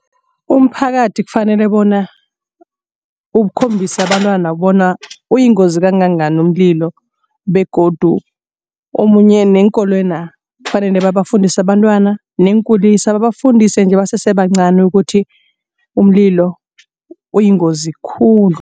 Umphakathi kufanele bona ukukhombisa abantwana bona uyingozi kangangani umlilo begodu omunye neenkolwena kufanele babafundise abantwana neenkulisa babafundise nje basesebancani ukuthi umlilo uyingozi khulu.